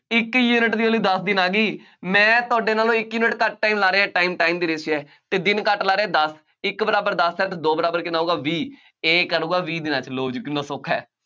ਇੱਕ ਯੂਨਿਟ ਦੀ value ਦੱਸ ਦਿਨ ਆ ਗਈ, ਮੈਂ ਤੁਹਾਡੇ ਨਾਲੋਂ ਇੱਕ ਯੂਨਿਟ ਘੱਟ time ਲਾ ਰਿਹਾਂ, time time ਦੀ ratio ਹੈ ਅਤੇ ਦਿਨ ਘੱਟ ਲਾ ਰਿਹਾਂ, ਦੱਸ, ਇੱਕ ਬਰਾਬਰ ਦੱਸ ਹੈ, ਤਾਂ ਦੋ ਬਰਾਬਰ ਕਿੰਨਾ ਹੋਊਗਾ, ਵੀਹ A ਕਰੂਗਾ ਵੀਹ ਦਿਨਾਂ ਚ ਲਉ ਜੀ, ਕਿੰਨਾਂ ਸੌਖਾ ਹੈ।